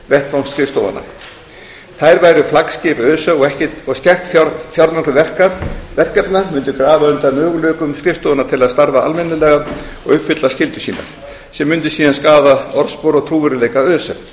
vettvangsskrifstofanna þær væru flaggskip öse og skert fjármögnun verkefna mundi grafa undan möguleikum skrifstofanna til að starfa almennilega og uppfylla skyldur sínar sem mundi síðan skaða orðspor og trúverðugleika öse